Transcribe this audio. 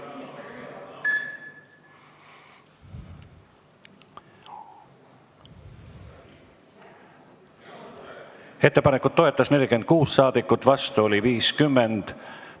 Hääletustulemused Ettepanekut toetas 46 ja vastu oli 50 saadikut.